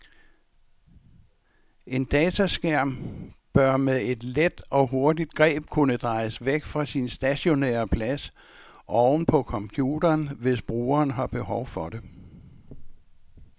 En dataskærm bør med et let og hurtigt greb kunne drejes væk fra sin stationære plads oven på computeren, hvis brugeren har behov for det.